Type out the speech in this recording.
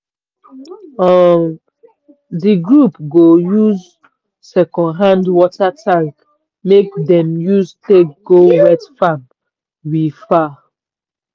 um di group go buy second hand water tank make dem use take go wet farm we far.